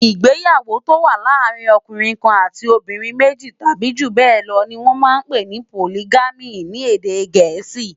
Igbéyàwó tó wà làárin òkúnrin kán àtí óbìrín méji tàbi júbèlò ni wòn mà n pé ni Pólìgàmí ni édé gẹẹsi